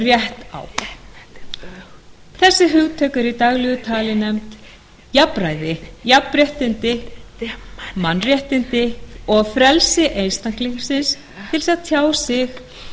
rétt á þessi hugtök eru í daglegu tali nefnd jafnræði jafnrétti mannréttindi og frelsi einstaklingsins til að tjá sig